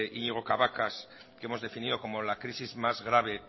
iñigo cabacas que hemos definido como la crisis más grave